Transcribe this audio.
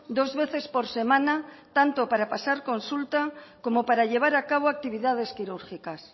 dos veces por semana tanto para pasar consulta como para llevar a cabo actividades quirúrgicas